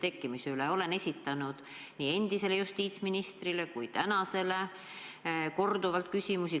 Olen sel teemal korduvat esitanud küsimusi nii endisele kui praegusele justiitsministrile.